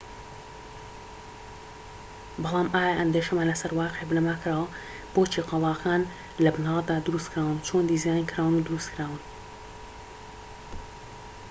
بەڵام ئایا ئەندێشەمان لەسەر واقیع بنەما کراوە بۆچی قەڵاکان لە بنەرەتدا دروستکراون چۆن دیزاینکراون و دروستکراون